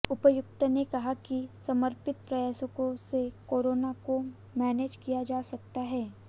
उपायुक्त ने कहा कि समर्पित प्रयासों से कोरोना को मैनेज किया जा सकता है